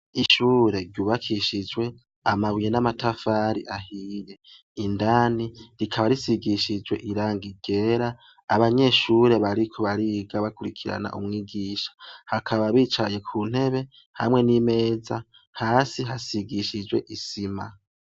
Ishure ryubakishijwe amabuye n’amatafari ahiye, indani rikaba risigishijwe irangi ryera, abanyeshure bariko bariga bakwirikirana umwigisha, bakaba bicaye kuntebe hamwe n’imeza, hasi hasigishijwe isima.